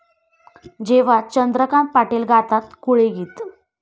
...जेव्हा चंद्रकांत पाटील गातात कोळी गीत!